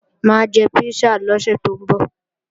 Mà á jẹ písà lọ́sẹ̀ tó ń bọ̀